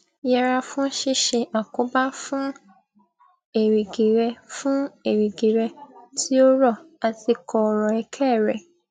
yẹra fún ṣíṣe àkóbá fún èrìgì rẹ fún èrìgì rẹ tí ó rọ àti kọọrọ ẹkẹ rẹ